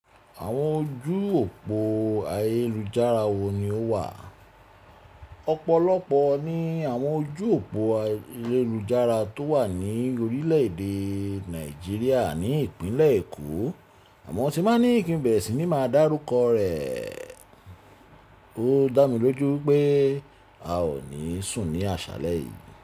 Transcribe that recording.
Àwọn ojú òpó ayélujára wo ni ó wà? Ọ̀pọ̀lọpọ̀ ni àwọn ojú òpó ayélujára tó wà ní orílẹ̀-èdè Nàìjíríà ní Ìpínlẹ̀ Èkó àmọ́ tí bá ní kín bẹ̀re sí ní máa dárúkọ rẹ̀. Ó dá mi lójú pé a ò ní sùn ní àṣálẹ́ yìí.